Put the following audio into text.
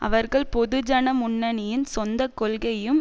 அவர்கள் பொதுஜன முன்னணியின் சொந்த கொள்கையும்